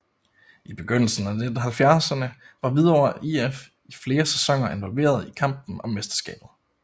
I begyndelsen af 1970erne var Hvidovre IF i flere sæsoner involveret i kampen om mesterskabet